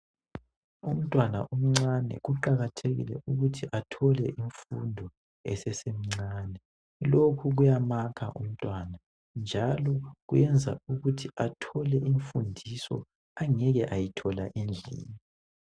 Umntwana omncane kuqakathekile ukuthi athole imfundo esesemncani. Lokhu kuyamakha umntwana, njalo kwenza ukuthi athole imfundiso angeke ayithola endlini.